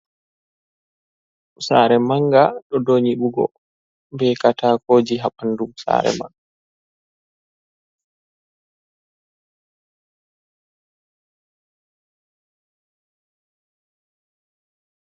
Saare manga ɗo dou nyiɓugo, be kataakoji ha ɓandu saare man.